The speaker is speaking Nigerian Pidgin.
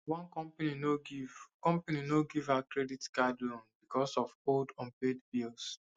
one company no give company no give her credit card loan because of old unpaid bills